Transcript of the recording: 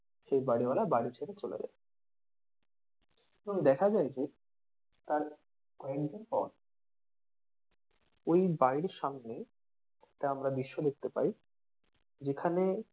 সেই বাড়িওয়ালা বাড়ি ছেড়ে চলে যায়, এবং দেখা যায় যে তার কয়েকদিন পর ওই বাড়ির সামনে একটা আমরা দৃশ্য দেখতে পায় যেখানে,